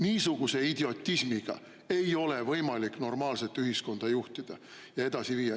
Niisuguse idiotismiga ei ole võimalik normaalset ühiskonda juhtida ja edasi viia.